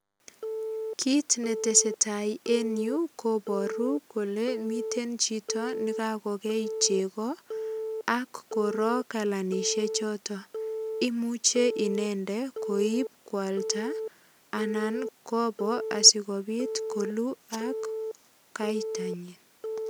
Kit netesetai enyu koboru kole mite chito nekakokei chego ak korok kalanisiechoto. Imuche inende koip kwalda anan kobo asigopit koluu akaitanyin.